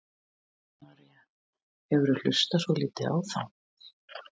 Kristín María: hefurðu hlustað svolítið á þá?